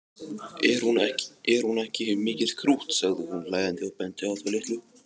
Er hún ekki mikið krútt sagði hún hlæjandi og benti á þá litlu.